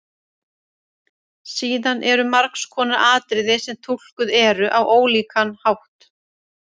Síðan eru margs konar atriði sem túlkuð eru á ólíkan hátt.